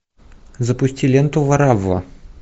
запусти ленту варавва